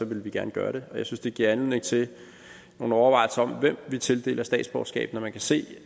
ville vi gerne gøre det jeg synes at det giver anledning til nogle overvejelser om hvem vi tildeler statsborgerskab når man kan se